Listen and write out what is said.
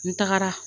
N tagara